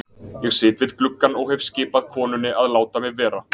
Ég sit við gluggann og hef skipað konunni að láta mig vera.